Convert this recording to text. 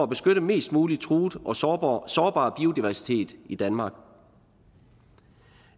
beskytte mest muligt truet og sårbar sårbar biodiversitet i danmark